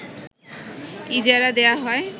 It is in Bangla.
ইজারা দেয়া হয়